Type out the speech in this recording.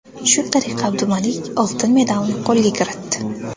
Shu tariqa Abdumalik oltin medalni qo‘lga kiritdi.